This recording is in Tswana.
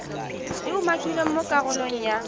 di umakilweng mo karolong ya